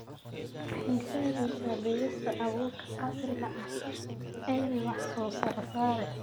Waxay sahlaysa beerista abuurka casriga ah ee leh wax-soo-saar sare.